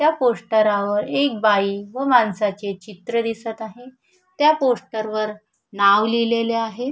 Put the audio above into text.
त्या पोस्टरा वर एक बाई व माणसाचे चित्र दिसत आहे त्या पोस्टर वर नाव लिहिलेले आहे.